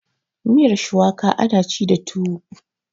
miyar shuwaka ana ci da tuwo